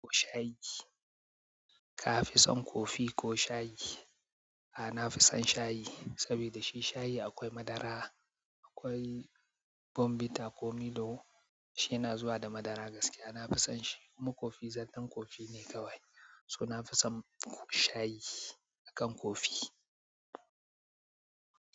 Ko shayi. Ka fi son kofi ko shayi? A nafisan shayi sabida shi shayi akwai madara akwai bombita ko milo shi yana zuwa da madara gaskiya nafisan shi kuma kofi zallar kofi ne kawai so nafisan shayi akan kofi.